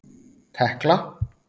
Tekla